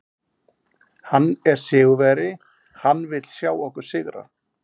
Hann er sigurvegari, hann vill sjá okkur sigra.